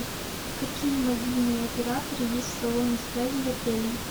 какие мобильные операторы есть в салоне связи в отеле